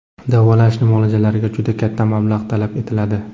Davolanish muolajalariga juda katta mablag‘ talab etiladi.